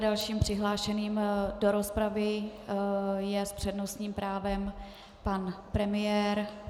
Dalším přihlášeným do rozpravy je s přednostním právem pan premiér.